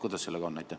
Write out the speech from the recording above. Kuidas sellega on?